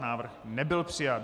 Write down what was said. Návrh nebyl přijat.